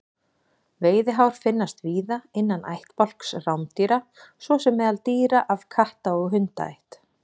Veiðihár finnast víða innan ættbálks rándýra svo sem meðal dýra af katta- og hundaætt.